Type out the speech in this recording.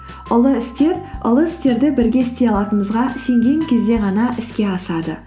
ұлы істер ұлы істерді бірге істей алатынымызға сенген кезде ғана іске асады